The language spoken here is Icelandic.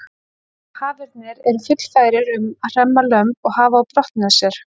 Hafernir eru fullfærir um að hremma lömb og hafa á brott með sér.